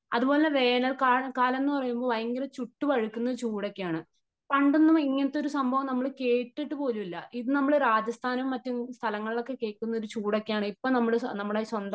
അത്പോലെ വേനൽക്ക വേനൽക്കാലം എന്ന് പറയുന്നത് ചുട്ടു പഴുക്കുന്ന ചൂടഒക്കെയാണ് . പണ്ടൊന്നും ഇങ്ങനത്തെ ഒരു സംഭവം നമ്മൾ കേട്ടിട്ട് പോലുമില്ല . ഇന്നു നമ്മൾ രാജസ്ഥാനും മറ്റും സ്ഥലങ്ങളിൽ കേൾക്കുന്ന ചൂടൊക്കെയാണ് ഇപ്പോ നമ്മളെ നമ്മുടെ സ്വന്തം